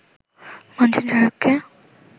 মানছেন শাহরুখকে